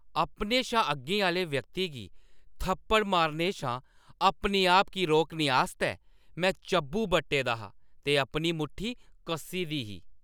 अपने शा अग्गें आह्‌ले व्यक्ति गी थप्पड़ मारने शा अपने आप गी रोकने आस्तै में चब्बूं बट्टा दा हा ते अपनी मुट्ठी कस्सा दा हा।